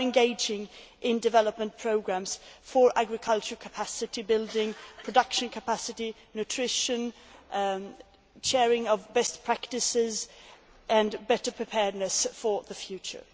We are engaging in development programmes for agricultural capacity building, production capacity, nutrition, sharing of best practices and better preparedness for the future.